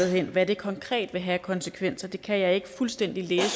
hen hvad det konkret vil have af konsekvenser kan jeg ikke fuldstændig læse